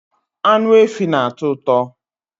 Anụ efi na-atọ ụtọ